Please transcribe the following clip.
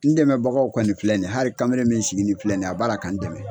N dɛmɛbagaw kɔni filɛ nin hali kamalen min sigi nin filɛ nin ye a b'a la ka n dɛmɛ